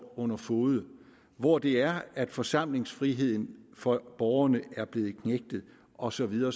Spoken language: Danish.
under fode hvor det er at forsamlingsfriheden for borgerne er blevet knægtet og så videre